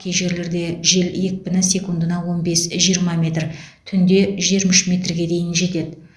кей жерлерде жел екпіні секундына он бес жиырма метр түнде жиырма үш метрге дейін жетеді